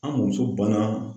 An mɔnmuso banna